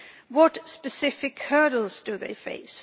What specific hurdles do they face?